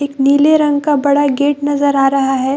एक नीले रंग का बड़ा गेट नज़र आ रहा है।